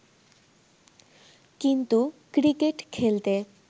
কিন্তু ক্রিকেট খেলতে